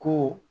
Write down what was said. Ko